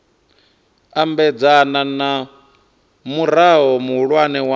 ambedzana na murao muhulwane wa